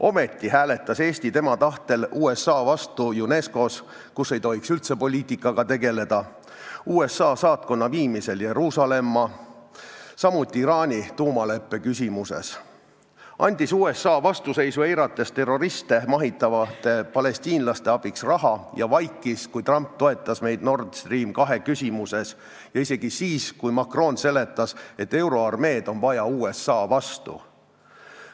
Ometi hääletas Eesti tema tahtel USA vastu UNESCO-s, kus ei tohiks üldse poliitikaga tegeleda, USA saatkonna Jeruusalemma viimise asjus, samuti Iraani tuumaleppe küsimuses, andis USA vastuseisu eirates terroriste mahitavate palestiinlaste abiks raha ja vaikis, kui Trump toetas meid Nord Stream 2 küsimuses, isegi siis, kui Macron seletas, et euroarmeed on vaja USA vastu.